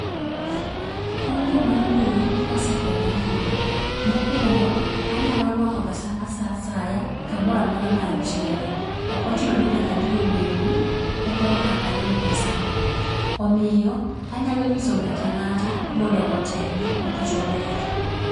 Kungo mar mbui osekonya ahinya. Mokwongo, anyalo nwango pesana saa asaya kamora mora ma antiere. Ok ochuno ni nyaka adhi e bengi e korka ayud pesano. Omiyo anyalo nyiso ng'ata ng'ata mondo oteme nikech ober.